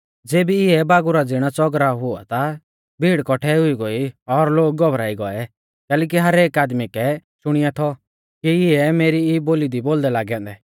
ज़ेबी इऐ बागुरा ज़िणौ च़ौगराव हुऔ ता भीड़ कौठै हुई गोई और लोग घबराई गौऐ कैलैकि हरेक आदमी कै शुणींया थौ कि इऐ मेरी ई बोली दी बोलदै लागै औन्दै